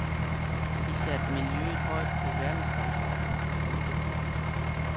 De satte miljøet højt på verdensdagsordenen. punktum